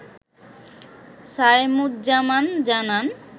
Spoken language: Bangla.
সায়েমুজ্জামান জানান